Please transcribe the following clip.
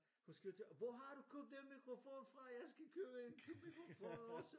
Hun skriver til hvor har du købt den mikrofon fra jeg skal købe en mikrofon også